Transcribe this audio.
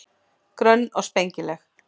Grönn og spengileg.